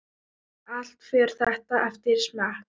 Allt fer þetta eftir smekk.